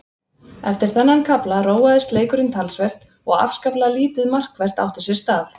Eftir þennan kafla róaðist leikurinn talsvert og afskaplega lítið markvert átti sér stað.